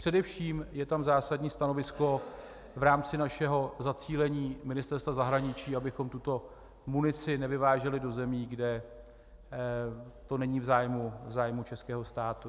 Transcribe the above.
Především je tam zásadní stanovisko v rámci našeho zacílení Ministerstva zahraničí, abychom tuto munici nevyváželi do zemí, kde to není v zájmu českého státu.